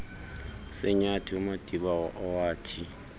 senyathi umadiba owathi